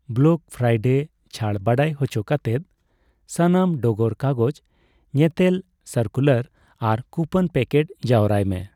Black Friday ᱪᱷᱟᱹᱲ ᱵᱟᱰᱟᱭ ᱦᱚᱪᱚ ᱠᱟᱛᱮᱫ ᱥᱟᱱᱟᱢ ᱰᱚᱜᱚᱨ ᱠᱟᱜᱚᱡ ᱧᱮᱛᱮᱞ, ᱥᱟᱨᱠᱩᱞᱟᱨ ᱟᱨ ᱠᱩᱯᱚᱱ ᱯᱮᱠᱮᱴ ᱡᱟᱣᱨᱟᱭ ᱢᱮ ᱾